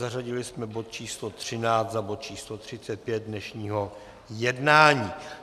Zařadili jsme bod číslo 13 za bod číslo 35 dnešního jednání.